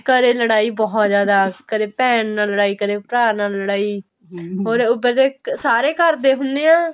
ਘਰੇ ਲੜਾਈ ਬਹੁਤ ਜ਼ਿਆਦਾ ਕਦੇ ਭੈਣ ਨਾਲ ਲੜਾਈ ਭਰਾ ਨਾਲ ਲੜਾਈ or ਉੱਪਰ ਤੇ ਸਾਰੇ ਘਰੇ ਹੁਨੇ ਆਂ